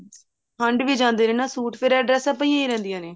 ਹੰਡ ਵੀ ਜਾਂਦੇ ਨੇ ਸੂਟ ਫ਼ੇਰ ਇਹ ਡ੍ਰੇਸਾਂ ਪਈਆਂ ਰਹਿੰਦੀਆਂ ਨੇ